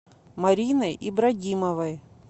мариной ибрагимовой